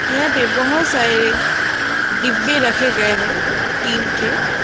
यहां पे बहुत सारे डिब्बे रखे गए हैं टीन के।